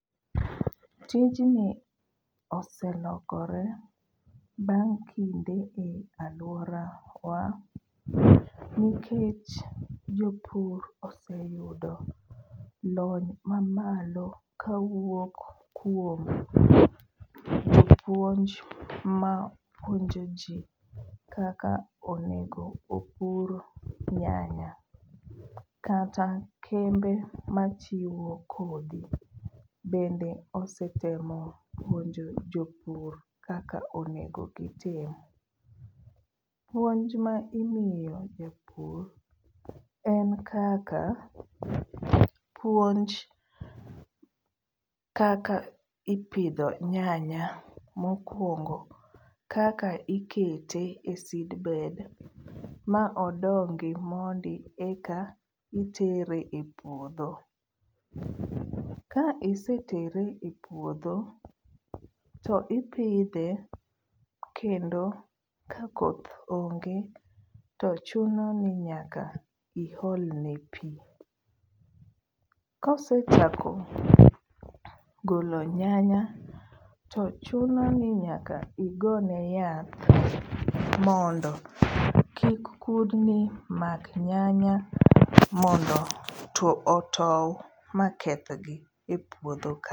Tijni oselokore bang' kinde e aluorawa nikech jopur oseyudo lony mamalo kawuok kuom jopuonj ma puonjo jii kaka onego opur nyanya. Kata kembe machiwo kodhi bende osetemo puonjo jopur kaka onego gitim. Puonj ma imiyo jopur en kaka puonj kaka ipidho nyanya. Mokwongo kaka ikete e seedbed ma odongi mondi eka itere e puodho. Ka isetere e puodho to ipidhe kendo ka koth onge to chuno ni nyaka iolne pii. Kosechako golo nyanya to chuno ni nyaka igone yath mondo kik kudni mak nyanya mondo otow ma kethgi e puodho kanyo.